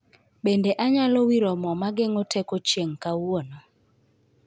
Bende anyalo wiro mo mageng'o teko chieng' kawuono